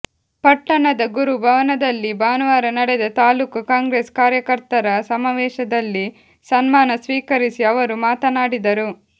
ಪಟ್ಟಣದ ಗುರು ಭವನದಲ್ಲಿ ಭಾನುವಾರ ನಡೆದ ತಾಲ್ಲೂಕು ಕಾಂಗ್ರೆಸ್ ಕಾರ್ಯಕರ್ತರ ಸಮಾವೇಶದಲ್ಲಿ ಸನ್ಮಾನ ಸ್ವೀಕರಿಸಿ ಅವರು ಮಾತನಾಡಿದರು